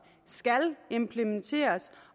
skal implementeres